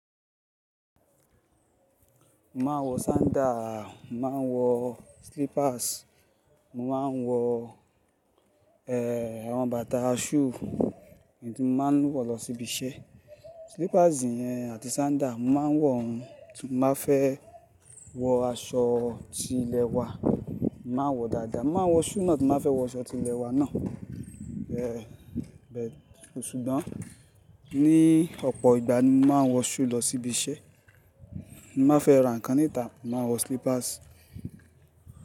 Mo máa ń wọ sandal, mo máa ń wọ slippers, mo máa ń wọ, eh, àwọn bàtà shoe tí mo máa ń wọ̀ lọ sí ibi iṣẹ́. Slippers yẹn àti sandal, mo máa ń wọ̀ wọ́n tí mo bá fẹ́ wọ aṣọ tí ilẹ̀ wa, mo màá n wọ̀ dáadáa. Mo máa n wọ shoe náà tí mo ba fẹ́ wọ aṣọ tí ilẹ̀ wa náà. Eh, but sùgbon, ni ọ̀pọ̀ ìgbà ni mo máa ń wọ shoe lọ sí ibi iṣẹ́. M ba fẹ́ ra ǹkan níta, mo màá n wọ slippers.